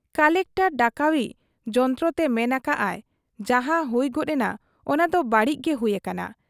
Collector ᱰᱟᱠᱵᱟᱹᱡᱤ ᱡᱚᱱᱛᱨᱚᱛᱮ ᱢᱮᱱ ᱟᱠᱟᱜ ᱟᱭ ᱡᱟᱦᱟᱸ ᱦᱩᱭ ᱜᱚᱫ ᱮᱱᱟ , ᱚᱱᱟᱫᱚ ᱵᱟᱹᱲᱤᱡ ᱜᱮ ᱦᱩᱭ ᱟᱠᱟᱱᱟ ᱾